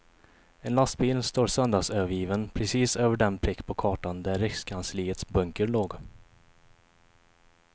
En lastbil står söndagsövergiven precis över den prick på kartan där rikskansliets bunker låg.